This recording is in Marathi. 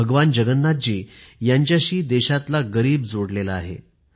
भगवान जगन्नाथजी यांच्याशी देशातला गरीब जोडलेला आहे